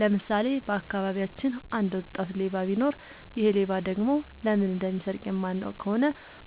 ለምሳሌ:- በአካባቢያችን አንድ ወጣት ሌባ ቢኖር ይሔ ሌባ ደግሞ ለምን እንደሚሰርቅ የማናውቅ ከሆነ